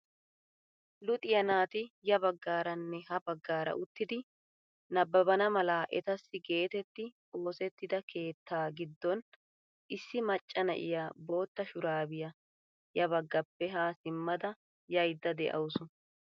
Luxxiyaa naati ya baggaaranne ha baggaara uttidi nababana mala etassi getetti oosettida keettaa giddon issi macca na'iyaa bootta shurabiyaa ya baggappe haa simmada yaydda de'awus.